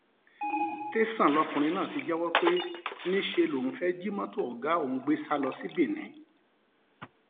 tẹsán lọkùnrin náà ti jẹwọ pé níṣẹ lòun fẹẹ jí mọtò ọgá òun gbé sá lọ sí benin